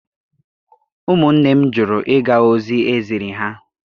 Ụmụnne m jụrụ ịga ozi eziri ha.